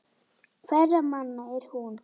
Hverra manna er hún?